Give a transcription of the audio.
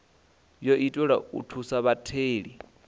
wo itelwa u thusa vhatheli